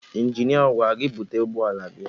Injinia a gwara gị búte ụgbọala gị?